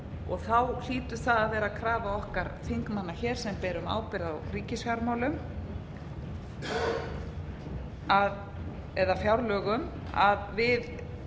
og þá hlýtur það að vera krafa okkar þingmanna sem berum ábyrgð á ríkisfjármálum eða fjárlögum að við